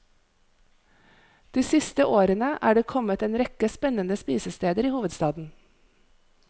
De siste årene er det kommet en rekke spennende spisesteder i hovedstaden.